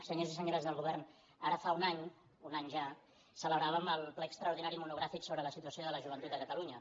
senyors i senyores del govern ara fa un any un any ja celebràvem el ple extraordinari monogràfic sobre la situació de la joventut a catalunya